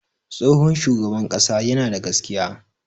Tsohon shugaban ƙasa yana da gaskiya.